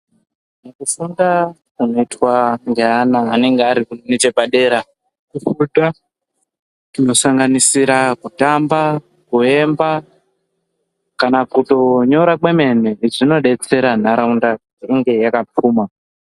Mukufunda kunoitwa ngeana anenge aringechepadera kufunda kuno sanganisira kutamba, kuemba kana kutonyora kwemene zvinodetsera ntaraunda inge yakapfuma.